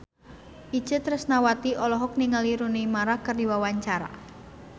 Itje Tresnawati olohok ningali Rooney Mara keur diwawancara